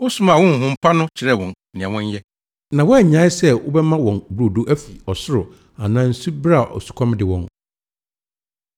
Wosomaa wo honhom pa no kyerɛɛ wɔn nea wɔnyɛ, na woannyae sɛ wobɛma wɔn brodo afi ɔsoro anaa nsu bere a osukɔm de wɔn.